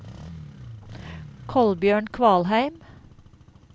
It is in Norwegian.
Kolbjørn Kvalheim